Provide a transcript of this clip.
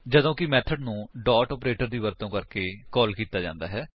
ਜਦੋਂ ਕਿ ਮੇਥਡ ਨੂੰ ਡੋਟ ਆਪਰੇਟਰ ਦੀ ਵਰਤੋ ਕਰਕੇ ਕਾਲ ਕੀਤਾ ਜਾਂਦਾ ਹੈ